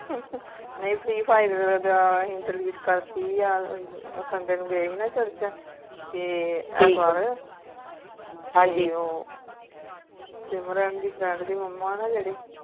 nhi free fire ਤਾ delete ਕਰਤੀ sunday ਨੂੰ ਗਏ ਸੀ ਨਾ church ਤੇ ਐਤਵਾਰ ਹਨਜੀ ਸਿਮਰਨ ਦੀ friend ਦੀ ਮੁਮਾ ਨਾ ਜੇੜੀ